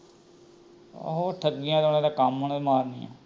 ਆਹੋ ਠੱਗੀਆਂ ਤਾ ਕੱਮ ਉਹਨਾਂ ਮਾਰਨਾ